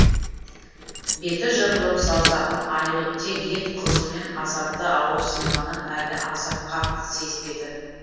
беті жырылып саусағынан айрылып тек ет қызуымен азапты ауырсынғанын әлі аса қатты сезінбеді